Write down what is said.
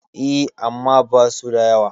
E, amma basu da yawa.